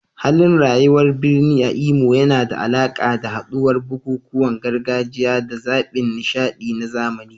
Halin rayuwar birni a Imo yana da alaƙa da haɗuwar bukukuwan gargajiya da zaɓin nishaɗi na zamani.